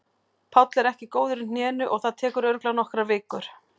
Páll er ekki góður í hnénu og það tekur örugglega nokkrar vikur.